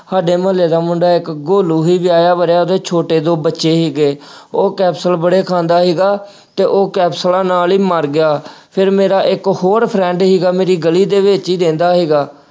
ਸਾਡੇ ਮੁਹੱਲੇ ਦਾ ਮੁੰਡਾ ਇੱਕ ਗੋਲੂ ਸੀ ਵੀ ਵਿਆਹਿਆ ਵਰਿਆ ਉਹਦੇ ਛੋਟੇ ਦੋ ਬੱਚੇ ਸੀਗੇ, ਉਹ capsule ਬੜੇ ਖਾਂਦਾ ਸੀਗਾ, ਤੇ ਉਹ capsules ਨਾਲ ਹੀ ਮਰ ਗਿਆ, ਫਿਰ ਮੇਰਾ ਇੱਕ ਹੋਰ friend ਸੀਗਾ ਮੇਰੀ ਗਲੀ ਦੇ ਵਿੱਚ ਹੀ ਰਹਿੰਦਾ ਸੀਗਾ।